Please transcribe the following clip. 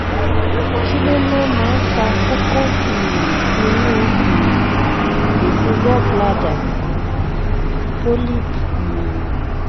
kí ló ló máa ń fa kókó um inú um ìfun gallbladder polyp um